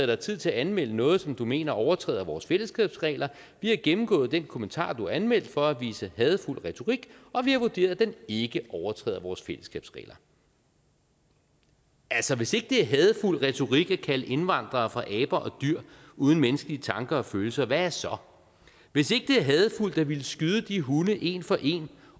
dig tid til at anmelde noget som du mener overtræder vores fællesskabsregler vi har gennemgået den kommentar du anmeldte for at vise hadefuld retorik og vi har vurderet at den ikke overtræder vores fællesskabsregler altså hvis ikke det er hadefuld retorik at kalde indvandrere for aber og dyr uden menneskelige tanker og følelser hvad er så hvis ikke det er hadefuldt at ville skyde de hunde en for en